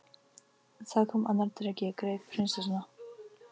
Þá kom annar dreki, greip prinsessuna